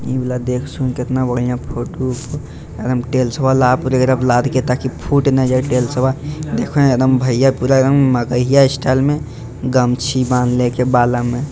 इ वाला देख सुन केतना बढ़िया फोटो एकदम टाइल्सवा लाईब करे लाद के ताकि फुट ना जाए टाइल्स बा देखो एकदम भैया पूरा उम्म मगहइया स्टाइल में गमछी बांधले हेय बाला में।